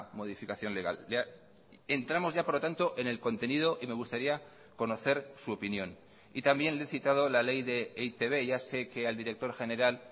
modificación legal entramos ya por lo tanto en el contenido y me gustaría conocer su opinión y también le he citado la ley de e i te be ya sé que al director general